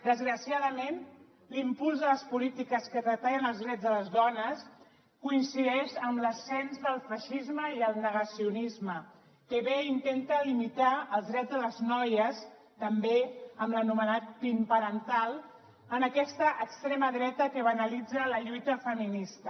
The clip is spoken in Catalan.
desgraciadament l’impuls de les polítiques que treballen pels drets de les dones coincideix amb l’ascens del feixisme i el negacionisme que ve i intenta limitar els drets de les noies també amb l’anomenat pin parental amb aquesta extrema dreta que banalitza la lluita feminista